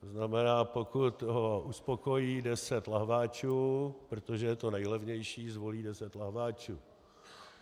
To znamená, pokud ho uspokojí deset lahváčů, protože je to nejlevnější, zvolí deset lahváčů.